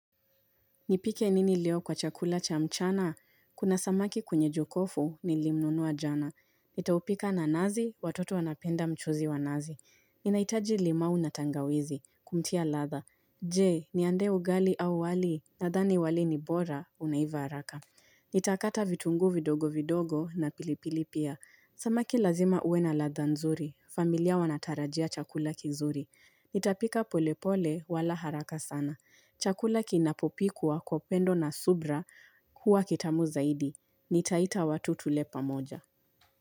Nipike nini leo kwa chakula cha mchana? Kuna samaki kwenye jokofu nilimnunua jana. Nitaupika na nazi, watoto wanapenda mchuzi wa nazi. Ninaitaji limau na tangawizi, kumtia ladha. Je, niandae ugali au wali, nadhani wali ni bora, unaiva haraka. Nitakata vitunguu vidogo vidogo na pilipili pia. Samaki lazima uwe na ladha nzuri. Familia wanatarajia chakula kizuri. Nitapika polepole wala haraka sana. Chakula kinapopikwa kwa upendo na subra huwa kitamu zaidi. Nitaita watu tule pamoja.